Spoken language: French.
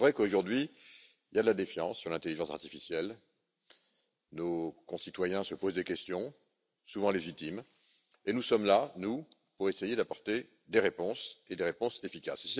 Il est vrai qu'aujourd'hui, il y a de la défiance sur l'intelligence artificielle. Nos concitoyens se posent des questions, souvent légitimes, et nous sommes là pour essayer d'apporter des réponses des réponses efficaces.